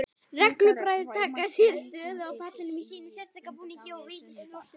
Reglubræður taka sér stöðu á pallinum í sínum sérstæða búningi og Vigdís forseti hjá.